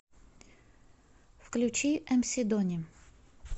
включи эмси дони